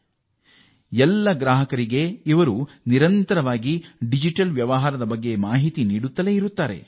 ಅವರು ತಮ್ಮ ಗ್ರಾಹಕರಿಗೆ ಸದಾ ಕಾಲ ಡಿಜಿಟಲ್ ಬಳಕೆಯ ಅರಿವು ಮೂಡಿಸುತ್ತಿದ್ದಾರೆ